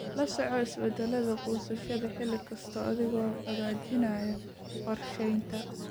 La soco isbeddelladaada goosashada xilli kasta adiga oo hagaajinaya qorsheynta.